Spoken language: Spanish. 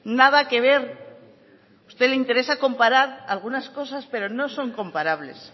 nada que ver a usted le interesa comparar algunas cosas pero no son comparables